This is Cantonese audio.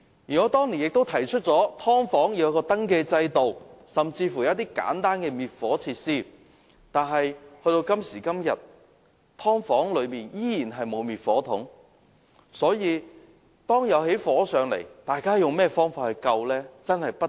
我當年曾建議為"劏房"設立登記制度，以及規定"劏房"配備簡單的滅火設施，但到今時今日，當局仍然沒有規定"劏房"內須設滅火筒。